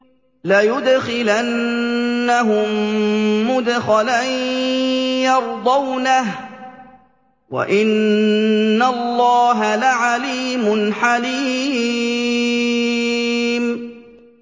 لَيُدْخِلَنَّهُم مُّدْخَلًا يَرْضَوْنَهُ ۗ وَإِنَّ اللَّهَ لَعَلِيمٌ حَلِيمٌ